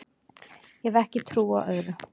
Ég hef ekki trú á öðru